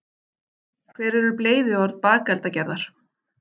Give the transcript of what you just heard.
hver eru bleyðiorð bakeldagerðar